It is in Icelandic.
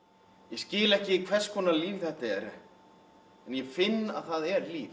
ég skil ekki hvers konar líf þetta er en ég finn að það er líf